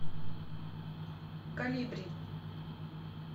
колибри